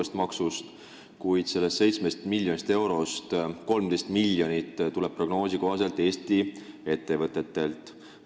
Sellest 17 miljonist eurost 13 miljonit tuleb prognoosi kohaselt Eesti ettevõtetelt.